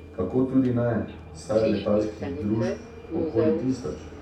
Kako tudi ne, saj je letalskih družb okoli tisoč.